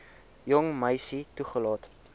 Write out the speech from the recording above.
jong meisie toelaat